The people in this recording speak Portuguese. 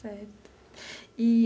Certo eee.